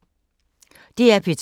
DR P2